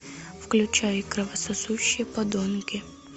включай кровососущие подонки